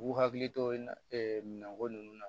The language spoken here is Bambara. U hakili to ɛ minɛnko ninnu na